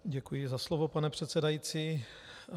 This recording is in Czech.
Děkuji za slovo, pane předsedající.